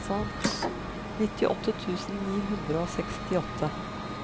nittiåtte tusen ni hundre og sekstiåtte